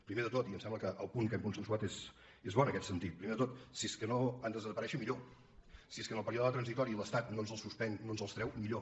primer de tot i em sembla que el punt que hem consensuat és bo en aquest sentit primer de tot si és que no han de desaparèixer millor si és que en el període transitori l’estat no ens els suspèn i no ens els treu millor